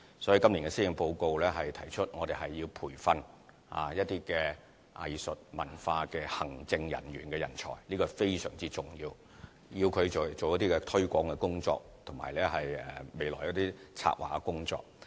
所以，今年的施政報告提出要培訓一些藝術、文化的行政人員的人才，這是非常重要的，讓他們可以進行一些推廣及未來策劃的工作。